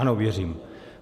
Ano, věřím.